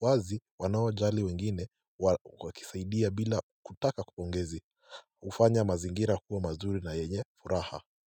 wazi wanaojali wengine wakisaidia bila kutaka pongezi hufanya mazingira kuwa mazuri na yenye furaha.